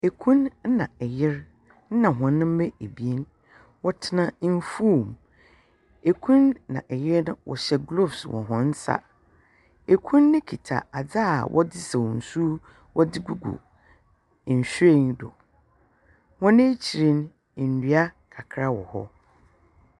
Kun na yer na hɔn mma ebien. Wɔtena mfuw mu. Kun na yer no hyɛ glove wɔ hɔn nsa. Kun no kita adze a wɔdze sa nsu wɔdze gugu nhyiren do. Wɔn ekyir no, ndua kakra wɔ hɔ.